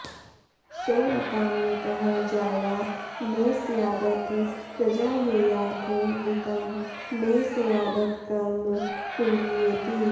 सो॒ऽकामयतः जाया॒ मे स्याद॒थ प्र॒जायेया॒थ वित्तं॒ मे स्याद॒थ क॒र्म कुर्वीये॒ति